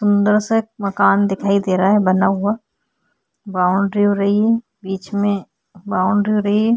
अंदर से एक मकान दिखाई दे रहा है बना हुआ बाउंड्री हो रही है बीच में बाउंड्री हो रही है।